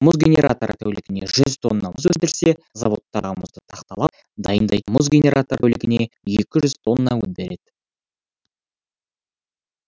мұз генераторы тәулігіне жүз тонна мұз өндірсе заводтардағы мұзды тақталап дайындайтын мұз генераторы тәулігіне екі жүз тонна өнім береді